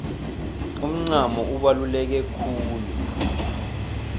umncamo ubaluleke khulu